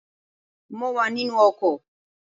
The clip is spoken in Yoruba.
Mo wà nínú ọkọ̀